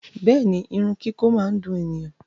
Bẹẹni, irun kiko máa n dùn ènìyàn.